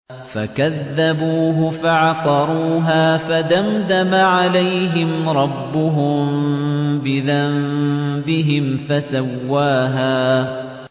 فَكَذَّبُوهُ فَعَقَرُوهَا فَدَمْدَمَ عَلَيْهِمْ رَبُّهُم بِذَنبِهِمْ فَسَوَّاهَا